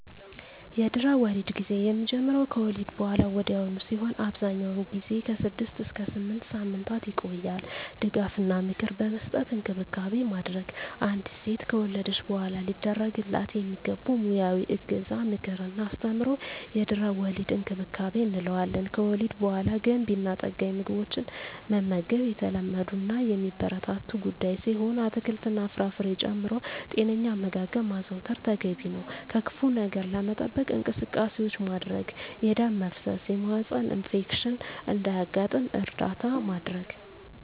የድህረ-ወሊድ ጊዜ የሚጀምረው ከወሊድ በሃላ ወዲያውኑ ሲሆን አብዛኛውን ጊዜ ከ6 እስከ 8 ሳምንታት ይቆያል ድጋፍ እና ምክር በመስጠት እንክብካቤ ማድረግ። አንዲት ሴት ከወለደች በሃላ ሊደረግላት የሚገቡ ሙያዊ እገዛ ምክር እና አስተምሮ የድህረ-ወሊድ እንክብካቤ እንለዋለን። ከወሊድ በሃላ ገንቢ እና ጠጋኝ ምግቦችን መመገብ የተለመዱ እና የሚበረታቱ ጉዳይ ሲሆን አትክልት እና ፍራፍሬ ጨምሮ ጤነኛ አመጋገብ ማዘውተር ተገቢ ነው። ከክፋ ነገር ለመጠበቅ እንቅስቃሴዎች ማድረግ የደም መፍሰስ የማህፀን ኢንፌክሽን እንዳያጋጥም እርዳታ ማድረግ።